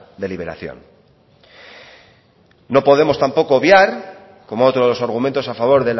de liberación no podemos tampoco obviar como otros argumentos a favor